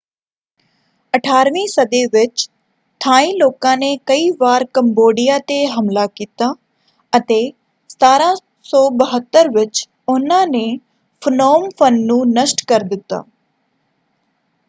18 ਵੀਂ ਸਦੀ ਵਿੱਚ ਥਾਈ ਲੋਕਾਂ ਨੇ ਕਈ ਵਾਰ ਕੰਬੋਡੀਆਂ ‘ਤੇ ਹਮਲਾ ਕੀਤਾ ਅਤੇ 1772 ਵਿੱਚ ਉਹਨਾਂ ਨੇ ਫਨੋਮ ਫ਼ਨ ਨੂੰ ਨਸ਼ਟ ਕਰ ਦਿੱਤਾ।